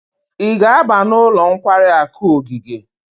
Ị ga-aba n'ụlọ nkwari akụ ogige?